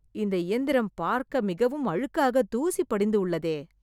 இந்த இயந்திரம் பார்க்க மிகவும் அழுக்காக தூசி படிந்து உள்ளதே